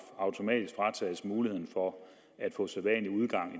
automatisk fratages muligheden for at få sædvanlig udgang i